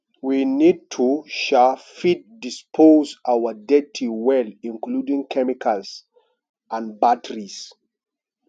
we need to um fit dispose our dirty well including chemicals and batteries